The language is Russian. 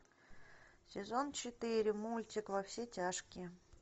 сезон четыре мультик во все тяжкие